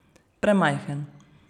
Premajhen.